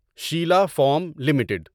Sheila foam limited